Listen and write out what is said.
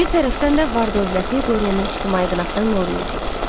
Bir tərəfdən də var-dövləti Dorianı ictimai qınaqdan qoruyurdu.